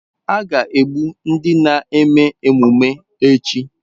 A ga-egbu ndị na-eme emume echi.